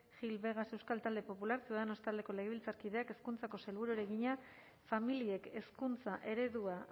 gil vegas euskal talde popularra ciudadanos taldeko legebiltzarkideak hezkuntzako sailburuari egina familiek hezkuntza eredua